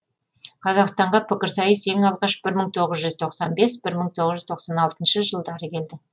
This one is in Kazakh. қазақстанға пікірсайыс ең алғаш бір мың тоғыз жүз тоқсан бес бір мың тоғыз жүз тоқсан алтыншы жылдары келді